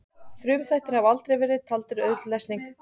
Frumþættir hafa aldrei verið taldir auðveld lesning.